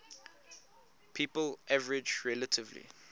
people average relatively